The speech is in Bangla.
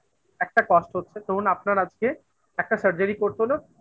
একটা cost হচ্ছে. ধরুন আপনার আজকে একটা surgery করতে হল